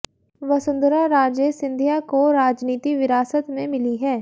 वसुंधरा राजे सिंधिया को राजनीति विरासत में मिली है